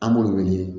An b'o wele